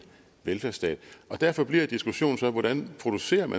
velfærdsstat derfor bliver diskussionen så hvordan man producerer